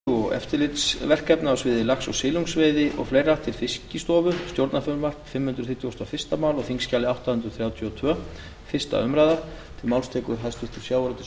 virðulegi forseti ég mæli fyrir frumvarpi á þingskjali átta hundruð þrjátíu og tvö sem er fimm hundruð þrítugustu og fyrsta mál en um er að ræða frumvarp til laga um